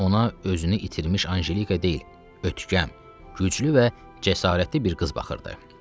Ona özünü itirmiş Anjelika deyil, ötkəm, güclü və cəsarətli bir qız baxırdı.